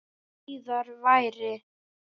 Þó síðar væri.